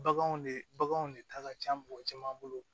Baganw de baganw de ta ka ca mɔgɔ caman bolo